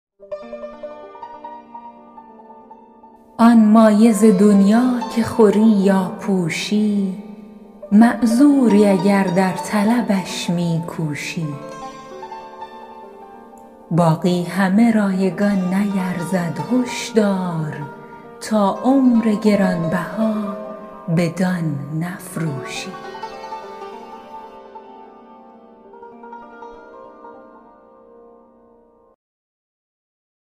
آن مایه ز دنیا که خوری یا پوشی معذوری اگر در طلبش می کوشی باقی همه رایگان نیرزد هش دار تا عمر گران بها بدان نفروشی